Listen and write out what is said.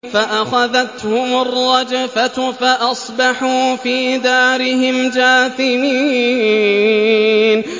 فَأَخَذَتْهُمُ الرَّجْفَةُ فَأَصْبَحُوا فِي دَارِهِمْ جَاثِمِينَ